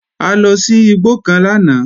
A lọ sí igbó kan lánàá